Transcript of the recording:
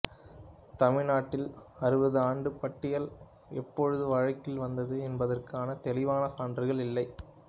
தமிழ் நாட்டில் அறுபதாண்டுப் பட்டியல் எப்போது வழக்கில் வந்தது என்பதற்கான தெளிவான சான்றுகள் இல்லை